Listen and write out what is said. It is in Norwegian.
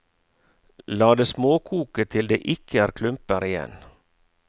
La det småkoke til det ikke er klumper igjen.